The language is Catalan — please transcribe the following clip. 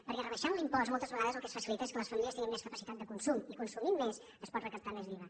perquè rebaixant l’impost moltes vegades el que es facilita és que les famílies tinguin més capacitat de consum i consumint més es pot recaptar més d’iva